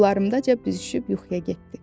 Qollarımca büzüşüb yuxuya getdi.